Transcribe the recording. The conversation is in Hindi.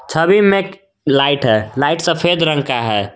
छवि में एक लाइट है लाइट सफेद रंग का है।